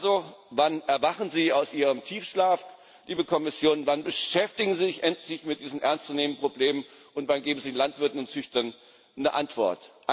Also wann erwachen Sie aus Ihrem Tiefschlaf, liebe Kommission, wann beschäftigen Sie sich endlich mit diesen ernstzunehmenden Problemen, und wann geben Sie den Landwirten und Züchtern eine Antwort?